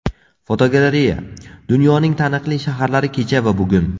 Fotogalereya: Dunyoning taniqli shaharlari kecha va bugun.